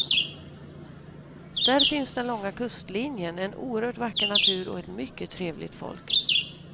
Där finns den långa kustlinjen, en oerhört vacker natur och ett mycket trevligt folk.